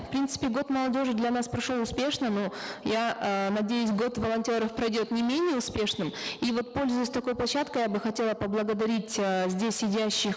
в принципе год молодежи для нас прошел успешно но я э надеюсь год волонтеров пройдет не менее успешным и вот пользуясь такой площадкой я бы хотела поблагодарить э здесь сидящих